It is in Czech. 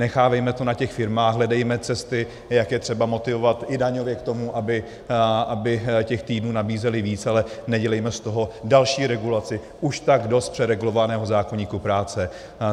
Nechávejme to na těch firmách, hledejme cesty, jak je třeba motivovat i daňově k tomu, aby těch týdnů nabízely víc, ale nedělejme z toho další regulaci už tak dost přeregulovaného zákoníku práce.